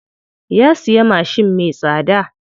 Ya siya mashin me tsada.